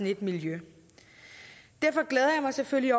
et miljø derfor glæder jeg mig selvfølgelig